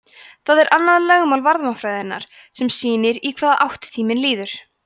það er annað lögmál varmafræðinnar sem sýnir í hvaða átt tíminn líður